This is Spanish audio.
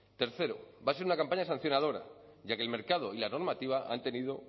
tercero va a ser una campaña sancionadora ya que el mercado y la normativa han tenido